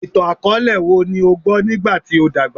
Itan-akọọlẹ wo ni o gbọ nigba ti o dagba?